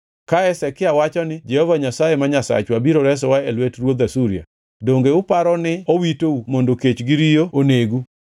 Ka Hezekia wacho ni, ‘Jehova Nyasaye, ma Nyasachwa biro resowa e lwet ruodh Asuria,’ donge uparo ni owitou mondo kech gi riyo onegu?